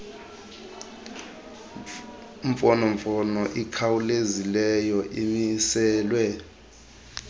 mfonomfono ikhawulezileyo imiselwe